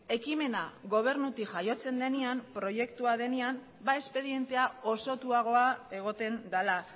ekimena gobernutik jaiotzen denean proiektua denean espedientea osotuagoa egoten dela